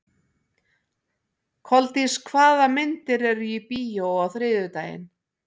Koldís, hvaða myndir eru í bíó á þriðjudaginn?